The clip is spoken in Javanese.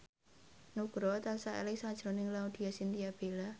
Nugroho tansah eling sakjroning Laudya Chintya Bella